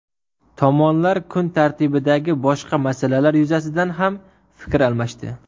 Tomonlar kun tartibidagi boshqa masalalar yuzasidan ham fikr almashdi.